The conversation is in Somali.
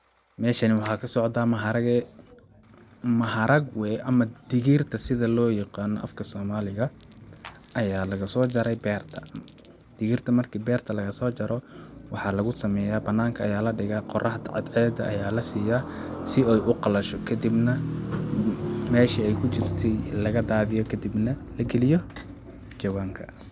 Meshani waxa kasocda maharagwe ama digirta sidi loyaqana afka somaliga aya lagaso jaray berta, digirta marka berta laga sojaro, waxa lugu sameya bananka aya ladiga qoraxda cadceda aya lasiya si ay uqalasho kadibna mesha ay kujurti lagadadhiyo kadibno lagaliyo jawanka.